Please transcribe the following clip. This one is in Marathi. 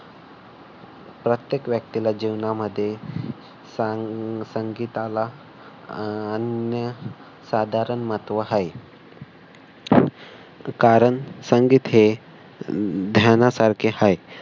प्रत्येक व्यक्तीला जीवनामध्ये अह संगीताला अन्य साधारण महत्व आहे. कारण संगीत हे ध्यानासारखे आहे.